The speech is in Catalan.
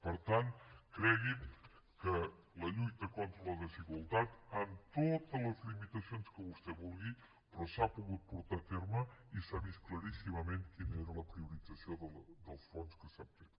per tant cregui’m que la lluita contra la desigualtat amb totes les limitacions que vostè vulgui s’ha pogut portar a terme i s’ha vist claríssimament quina era la priorització del fons que s’ha fet